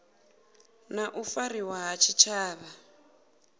na u fariwa ha tshitshavha